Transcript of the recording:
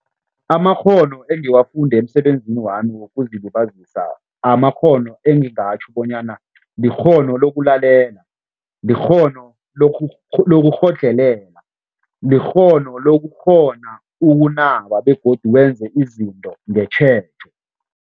Amakghono engiwafunde emisebenzini wami wokuzilibazisa, amakghono engingatjho bonyana likghono lokulalela, likghono lokukghodlhelela, likghono lokukghona ukunaba begodu wenze izinto ngetjhejo.